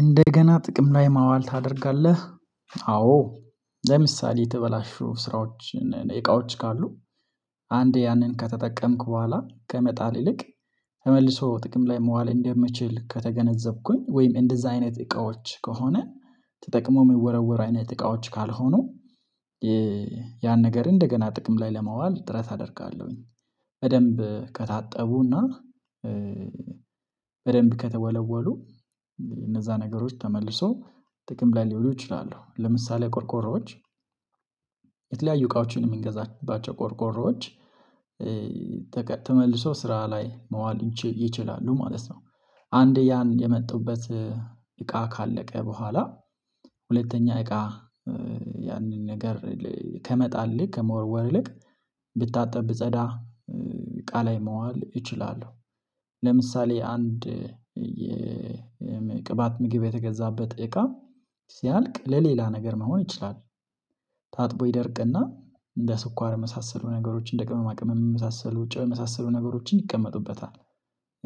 እንደገና ጥቅም ላይ ማዋል ታደርጋለህ። አዎ ለምሳሌ የተበላሹ ስራዎች እና እቃዎች ካሉ አንዴ ያንን ከተጠቀምኩ በኋላ ከመጣል ይልቅ ተመልሶ ጥቅም ላይ መዋል እንደምችል ከተገነዘብኩኝ ወይም እንደዛ አይነት እቃዎች ከሆነ ተጠቅሞ የሚወረወር አይነት እቃዎች ካልሆኑ ያን ነገር እንደገና ጥቅም ላይ ለማዋል ጥረት አደርጋለሁኝ በደንብ ከታጠቡና በደንብ ከተወለወሉ እነዛ ነገሮች ተመልሶ ጥቅም ላይ ሊውሉ ይችላሉ ለምሳሌ ቆርቆሮዎች የተለያዩ እቃዎችን የምንገዛባቸው ቆርቆሮዎች ተመልሶ ስራ ላይ መዋል ይችላሉ ማለት ነው አንዴ ያን የመጡበት እቃ ካለቀ በኋላ ሁለተኛ እቃ ያንን ነገር ከመጣል ይልቅ ከመወርወር ይልቅ ብታጠብ ቢጸዳ እቃላይ መዋል እችላለሁ ለምሳሌ አንድ ቅባት ምግብ የተገዛበት እቃ ሲያልቅ ለሌላ ነገር መሆን ይችላል። ታጥቦ ይደርቅና እንደ ስኳር የመሳሰሉ ነገሮችን እንደ ቅመማ ቅመም የመሳሰሉ ጨው የመሳሰሉ ነገሮችን ይቀመጡበታል።